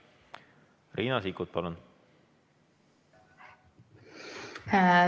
Riina Sikkut, palun!